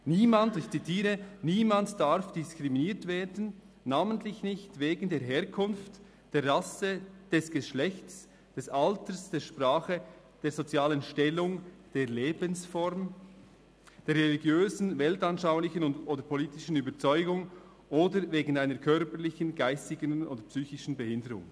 «Niemand» – ich zitiere – «niemand darf diskriminiert werden, namentlich nicht wegen der Herkunft, der Rasse, des Geschlechts, des Alters, der Sprache, der sozialen Stellung, der Lebensform, der religiösen, weltanschaulichen oder politischen Überzeugung oder wegen einer körperlichen, geistigen oder psychischen Behinderung.